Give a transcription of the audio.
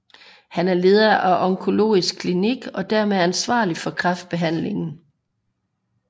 Han er leder af Onkologisk Klinik og dermed ansvarlig for kræftbehandlingen